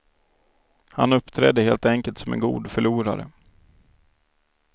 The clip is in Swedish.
Han uppträdde helt enkelt som en god förlorare.